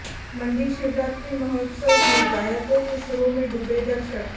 मंडी शिवरात्रि महोत्सव में गायकों के सुरों में डूबे दर्शक